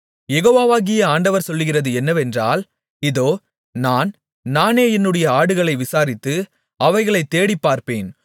யெகோவாகிய ஆண்டவர் சொல்லுகிறது என்னவென்றால் இதோ நான் நானே என்னுடைய ஆடுகளை விசாரித்து அவைகளைத் தேடிப்பார்ப்பேன்